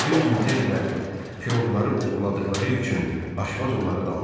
Bir gün Den ilə piroqları oğurladıqları üçün Aşvaz onları danladı.